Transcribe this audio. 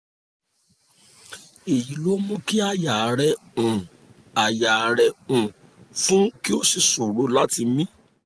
èyí ló ń mú kí àyà rẹ um àyà rẹ um fún kí o sì ṣòro láti mí